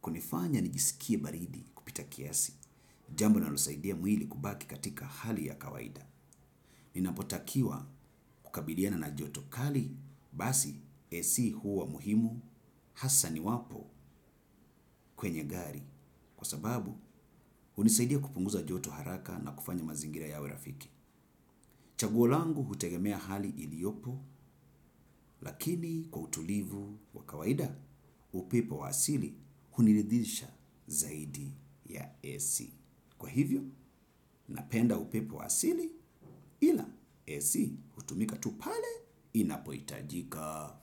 kunifanya nijisikie baridi kupita kiasi. Jambo linalosaidia mwili kubaki katika hali ya kawaida. Ninapotakiwa kukabiliana na joto kali, basi AC huwa muhimu, hasa niwapo kwenye gari. Kwa sababu, hunisaidia kupunguza joto haraka na kufanya mazingira yawe rafiki. Chaguo langu hutegemea hali iliyopo, lakini kwa utulivu wa kawaida, upepo wa asili huniridhisha zaidi ya AC. Kwa hivyo, napenda upepo wa asili ila ac hutumika tu pale inapohitajika.